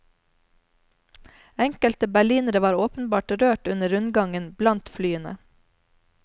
Enkelte berlinere var åpenbart rørt under rundgangen blant flyene.